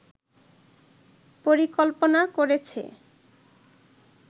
পরিকল্পনা করেছে